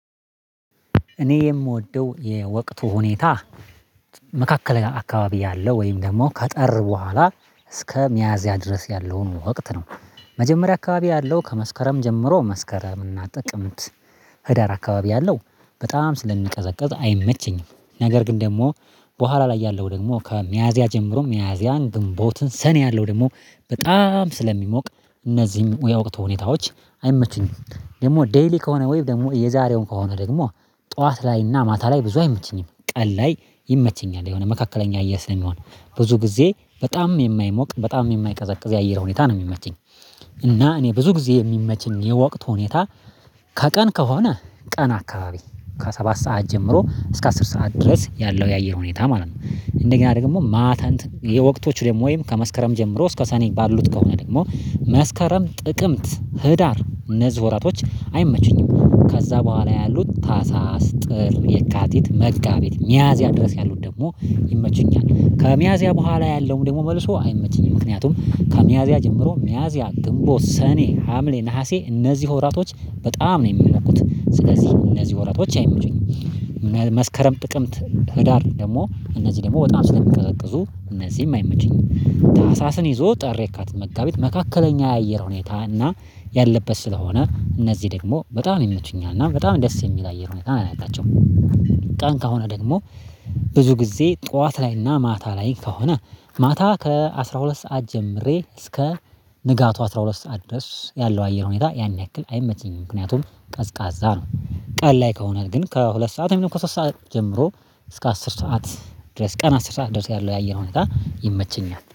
እኔ የምወደው የወቅቱ ሁኔታ መካከለኛ አካባቢ ያለው ወይም ደግሞ ከጠር በኋላ እስከ ሚያዝያ ድረስ ያለውን ወቅት ነው። መጀመሪያ አካባቢ ያለው ከመስከረም ጀምሮ መስከረም እና ጥቅምት ህዳር አካባቢ ያለው በጣም ስለሚቀዘቅዝ አይመቸኝም ነገር ግን ደግሞ በኋላ ላይ ያለው ደግሞ ከሚያዚያ ጀምሮ ሚያዚያን ግንቦትን ሰኔ ያለው ደግሞ በጣም ስለሚሞቅ እነዚህም የወቅት ሁኔታዎች አይመቱኝም። ደግሞ ዴይሊ ከሆነ ወይ ደግሞ የዛሬው ከሆነ ደግሞ ጠዋት ላይና ማታ ላይ ብዙ አይመቸኝም ቀን ላይ ይመቸኛል የሆነ መካከለኛ እየር ስለሚሆን ብዙ ጊዜ በጣምም የማይሞቅ በጣም የማይቀዘቅዝ የአየር ሁኔታ ነው የሚመችኝ። እና እኔ ብዙ ጊዜ የሚመችኝ የወቅት ሁኔታ ከቀን ከሆነ ቀን አካባቢ ከሰባት ሰዓት ጀምሮ እስከ አስር ሰዓት ድረስ ያለው የአየር ሁኔታ ማለት ነው። እንደገና ደግሞ ማታ እንትን የወቅቶች ደግሞ ወይም ከመስከረም ጀምሮ እስከ ሰኔ ባሉት ከሆነ ደግሞ መስከረም ጥቅምት ህዳር እነዚህ ወራቶች አይመቹኝም። ከዛ በኋላ ያሉት ታህሳስ ጥር የካቲት መጋቢት ሚያዝያ ድረስ ያሉት ደግሞ ይመቹኛል። ከሚያዝያ በኋላ ያለውም ደግሞ መልሶ አይመችኝም ምክንያቱም ከሚያዚያ ጀምሮ ሚያዚያ ግንቦት ሰኔ ሀምሌ ነሀሴ እነዚህ ወራቶች በጣም ነው የሚሞቁት ስለዚህ እነዚህ ወራቶች አይመቹኝም። መስከረም ጥቅምት ህዳር ደግሞ እነዚህ ደግሞ በጣም ስለሚቀዘቅዙ እነዚህም አይመቹኝም። ታህሳስን ይዞ ጥር የካቲት መጋቢት መካከለኛ የአየር ሁኔታ እና ያለበት ስለሆነ እነዚህ ደግሞ በጣም ይመቹኛል እና በጣም ደስ የሚል አየር ሁኔታ ነው ያላቸው። ቀን ከሆነ ደግሞ ብዙ ጊዜ ጠዋት ላይና ማታ ላይ ከሆነ ማታ ከአሥራ ሁለት ሰዓት ጀምሬ እስከ ንጋቱ አስራ ሁለት ሰዓት ድረስ ያለው አየር ሁኔታ ያን ያክል አይመቸኝም። ምክንያቱም ቀዝቃዛ ነው ቀን ላይ ከሆነ ግን ከሁለት ሰዓት አብዛኛው ከሶስት ሰዓት ጀምሮ እስከ አስር ሰዓት ድረስ ቀን አስር ሰዓት ድረስ ያለው የአየር ሁኔታ ይመቸኛል